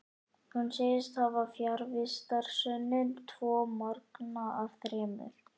Hún segist hafa fjarvistarsönnun tvo morgna af þremur.